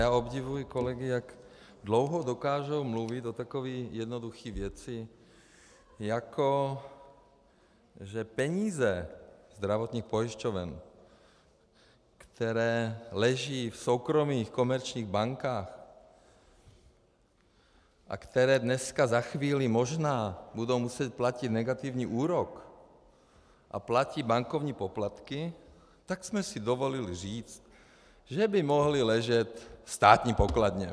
Já obdivuji kolegy, jak dlouho dokážou mluvit o takové jednoduché věci, jako že peníze zdravotních pojišťoven, které leží v soukromých komerčních bankách a které dneska, za chvíli, možná budou muset platit negativní úrok, a platí bankovní poplatky, tak jsme si dovolili říct, že by mohly ležet v státní pokladně.